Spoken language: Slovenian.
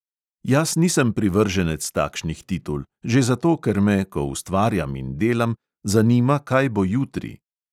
Jaz nisem privrženec takšnih titul, že zato, ker me, ko ustvarjam in delam, zanima, kaj bo jutri.